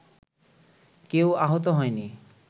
কেউ আহত হয়নি